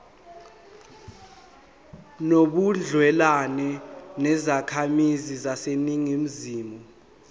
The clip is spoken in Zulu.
nobudlelwane nezakhamizi zaseningizimu